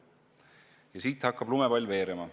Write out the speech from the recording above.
Ja siit hakkab lumepall veerema.